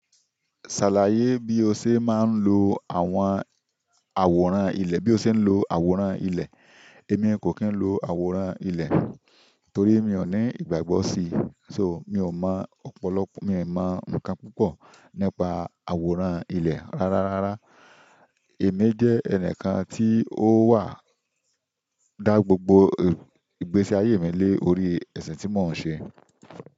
Ṣàlàyé bí o ṣe máa ń lo àwọn àwòrán ilẹ̀, bí o ṣe ń lo àwòrán ilẹ̀. Èmi kò kí ń lo àwòrán ilẹ̀ torí mi ò ní ìgbàgbọ́ sí, so mi ò mọ ọ̀pọ̀lọpọ̀, mi ò mọ ǹkan púpọ̀ nípa àwòrán ilẹ̀. Rárá, rárá, èmi jẹ́ ẹnìkan tí ó wà dá gbogbo ìgbésí ayé mi lé orí ẹ̀sìn tí mò ń ṣe.